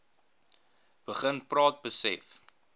begin praat besef